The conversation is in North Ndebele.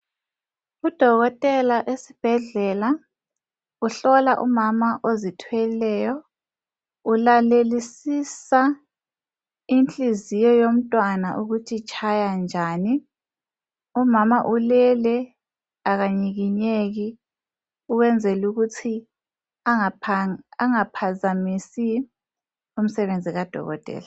Udokotela esibhedlela, uhlola umama ozithweleyo. Ulalelisisa inhliziyo yomntwana ukuthi itshaya njani. Umama ulele, akanyikinyeki ukwenzel' ukuthi angaphazamisi umsebenzi kadokotela.